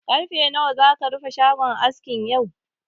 Ƙarfe nawa zaka rufe shagon askin yau?